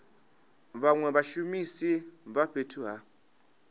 vhanwe vhashumisi vha fhethu ha